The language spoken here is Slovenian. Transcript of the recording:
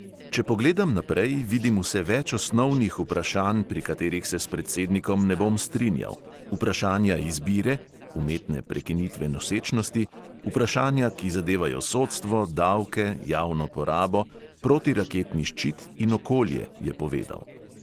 Če pogledam naprej, vidim vse več osnovnih vprašanj, pri katerih se s predsednikom ne bom strinjal: vprašanja izbire (umetne prekinitve nosečnosti), vprašanja, ki zadevajo sodstvo, davke, javno porabo, protiraketni ščit in okolje, je povedal.